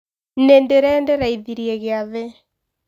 Nĩndĩrendereithirie gĩathĩ.